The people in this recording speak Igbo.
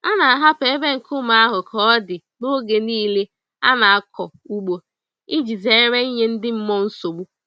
A na-ahapụ ebe nkume ahụ ka ọ dị n'oge niile a na-akọ ugbo iji zere ịnye ndị mmụọ nsogbu.